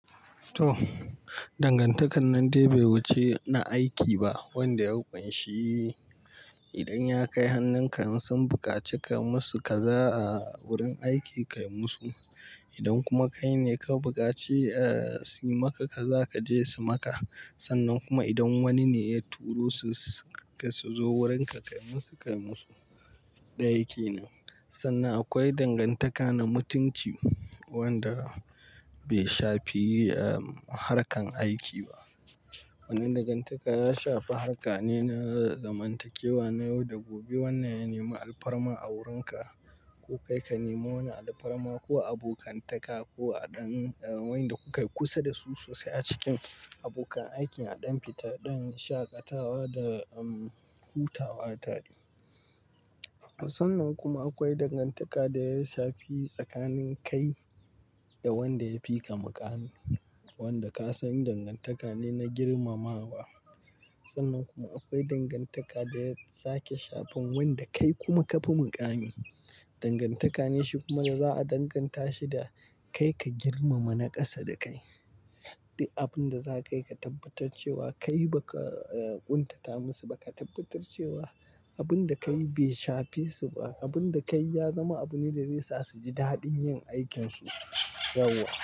To, dangantakar nan dai bai wuce na aiki ba wanda ya ƙunshi idan ya kai hannunka in sun bukaci ka musu ka za a wurin aiki kai musu. Idan kuma kai ne ka bukaci, aa, su maka ka za ka je su maka. Sannan kuma idan wani ne ya turo su ka su zo wurinka kai musu, kai musu. Na aiki ne. Sannan akwai dangantaka na mutunci wanda bai shafi, aa, harkar aiki ba. Wannan dangantaka ya shafi harka ne na zamantakewa na yau da gobe. Wannan ya nema alfarma a wurinka ko kai ka nema wani alfarma ko abokantaka ko a ɗan-- wa'inda kukai kusa da su sosai a cikin abokan aiki a ɗan fita, ɗan shaƙatawa da, em, hutawa tare. Sannan kuma akwai dangantaka da ya shafi tsakanin kai da wanda ya fi ka muƙami wanda ka san dangantaka ne na girmamawa. Sannan kuma akwai dangantaka da ya sake shafan wanda kai kuma ka fi muƙami. Dangantaka ne shi kuma da za a danganta shi da kai ka girmama na ƙasa da kai. Abin da za ka yi ka tabbatar cewa kai ba ka, aa, ƙuntata musu ba ka tabbatar cewa abun da kai bai shafe su ba. Abun da kai ya zama abune da zai sa su ji daɗin yin aikinsu: yawwa.